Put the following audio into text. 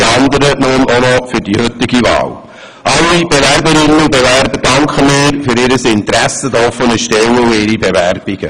Allen Bewerberinnen und Bewerbern danken wir für ihr Interesse an den offenen Stellen und für ihre Bewerbungen.